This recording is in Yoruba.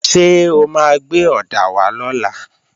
Ṣé o máa gbé ọ̀dà wá lọ́la?